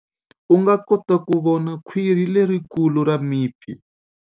U nga kota ku vona khwiri lerikulu ra mipfi.